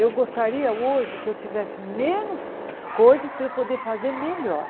Eu gostaria hoje que eu tivesse menos coisas para eu poder fazer melhor.